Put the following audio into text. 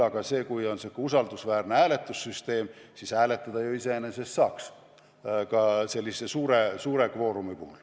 Aga kui on olemas usaldusväärne hääletussüsteem, siis hääletada ju iseenesest saaks ka sellise suure kvoorumi puhul.